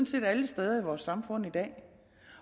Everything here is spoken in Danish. set alle steder i vores samfund i dag